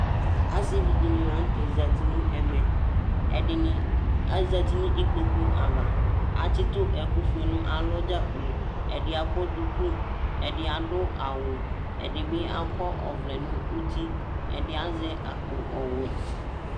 Asivi ɖíni la ŋtɛ zɛti ŋu nɛmɛ Ɛɖìní azɛti ŋu ikpoku ava Atsitu ɛku vɛ ŋu alɔ dzakplo Ɛdí akɔ ɖʋku Ɛɖì aɖu awu Ɛɖìbi akɔ ɔvlɛ ŋu ʋti Ɛɖì azɛ akpo ɔwɛ